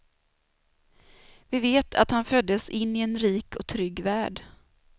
Vi vet att han föddes in i en rik och trygg värld.